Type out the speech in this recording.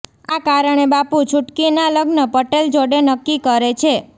આ કારણે બાપુ છુટકીના લગ્ન પટેલ જોડે નક્કી કરે છે